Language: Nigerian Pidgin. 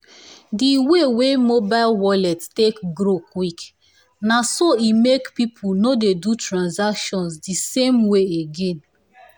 the way wey mobile wallets take grow quick naso e make people no dey do transaction the same way again.